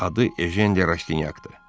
Adı Ejen de Rastinyakdır.